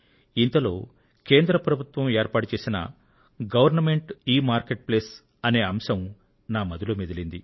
ఇంతలో కేంద్ర ప్రభుత్వం ఏర్పాటుచేసిన గవర్న్మెంట్ ఎమార్కెట్ప్లేస్ అనే అంశం నా మదిలో మెదిలింది